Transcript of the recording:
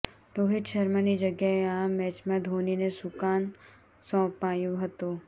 રોહિત શર્માની જગ્યાએ આ મેચમાં ધોનીને સુકાન સોંપાયું હતું